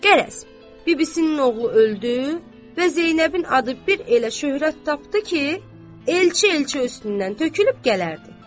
Qərəz, bibisinin oğlu öldü və Zeynəbin adı bir elə şöhrət tapdı ki, elçi elçə üstündən tökülüb gələrdi.